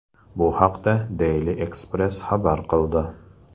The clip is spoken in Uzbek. Bu haqda Daily Express xabar qildi .